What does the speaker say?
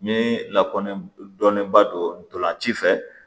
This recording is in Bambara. N bɛ lakɔni dɔnnen ba donna ci fɛ